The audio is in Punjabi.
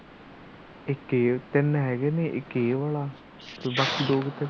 ਤਿੰਨ ਹੈਗੇ ਨੇ ਇੱਕ ਇਹ ਵਾਲਾ ਬਾਕੀ ਦੋ ਕਿੱਦਰ